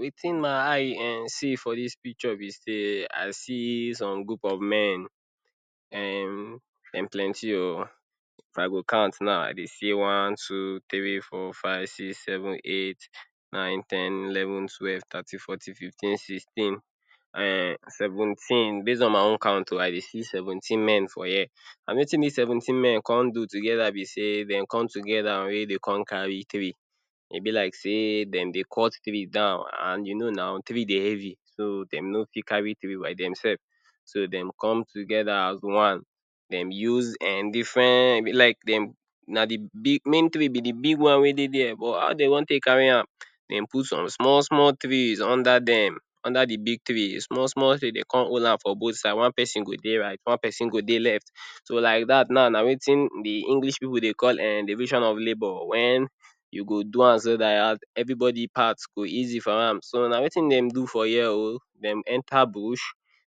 Wetin my eye um see for dis picture be sey I see some group of men um dem plenty o. If I go count now, I dey see one, two, three, four, five, six, seven, eight, nine, ten, eleven, twelve, thirteen, fourteen, fifteen, sixteen um seventeen. Base on my own count o, I dey see seventeen men for here, and wetin dis seventeen men come do together be sey dem come together wey dey come carry tree. E be like sey dem dey cut tree down and you know now, tree dey heavy, so dem no fit carry tree by dem sef, so dem come together as one, dem use um different like dem na de big main tree be de big one wey dey there, but how dem wan take carry am? Dem put some small small trees under dem, under de big trees. Small small trees, dey come hold am for both side, one pesin go dey right, one pesin go dey left. So like dat now na wetin de English pipu dey call um division of labour. When you go do am so dat everybody part go easy for am. So na wetin dem for here o. Dem enter bush,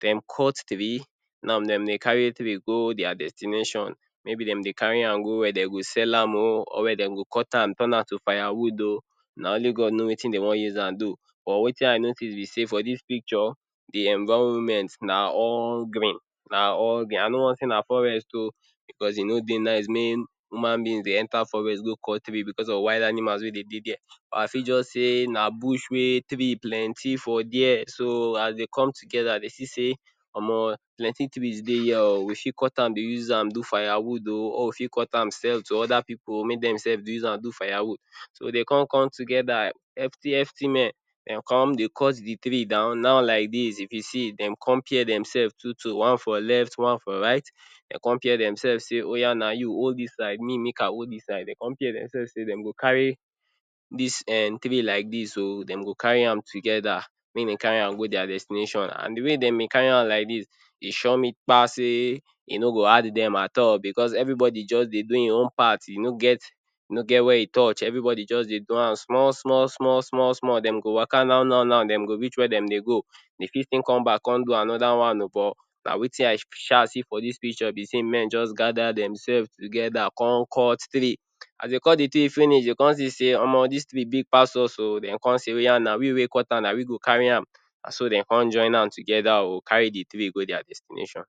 dem cut tree, now dem dey carry tree go dia destination. Maybe dem dey carry am go where dem go sell am o, or where dem go cut am turn to firewood o, na only God know wetin dem wan use am do. But wetin I notice be sey for dis picture de environment na all green, na all green. I no wan say na forest o, because e no dey nice make human being dey enter forest go cut tree because of wild animals wey dey dey there. But I fit just say na bush wey tree plenty for there, so as dey come together, dey see sey omo plenty trees dey here o, we fit cut am dey use am do firewood o, or we fit cut am sell to other pipu make dem sef use am do firewood. So dey come come together, hefty hefty men dem come dey cut de tree down. Now like dis if you see, dem come pair dem sef two two, one for left, one for right. Dey come pair dem sef sey oya na you hold dis side, me make I hold dis side. Dey come pair dem sef sey dem go carry dis tree like dis o, dem go carry am together, make dem carry am go dia destination. And de way dem dey carry am like dis, e sure me kpa sey e no go hard dem at all because everybody just dey do im own part. E no get, e no get where e touch, everybody just dey do am small small small small small. Dem go waka now now now, dem go reach where dem dey go. Dey fit still come back come do another one o, but na wetin I sha see for dis picture be sey men just gather dem sef together come cut tree. As dey cut de tree finish, dey come see sey omo dis tree big pass us o. Dem come say oya na we wey cut am na we go carry am. Na so dem come join hand together o carry de tree go dia destination.